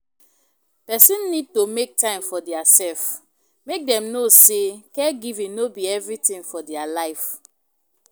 Person need to make time for their self, make dem know sey caregiving no be everything for their life